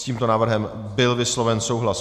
S tímto návrhem byl vysloven souhlas.